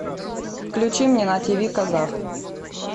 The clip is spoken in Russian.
включи мне на тв казах